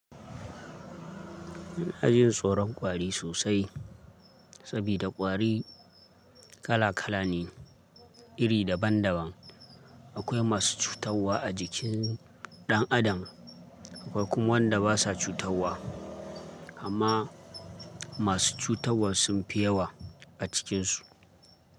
Ina yin tsoron kwari sosai sabida kwari kala kala ne, iri daban daban. Akwai masu cutarwa a jikin ɗan adam, akwai kuma wanda basa cutarwa amma masu cutarwa sunfi yawa a cikinsu.